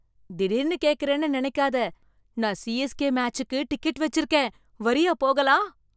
திடீர்னு கேக்குறேன்னு நினைக்காத, நான் சிஎஸ்கே மேச்சுக்கு டிக்கெட் வச்சிருக்கேன், வர்றியா போகலாம்?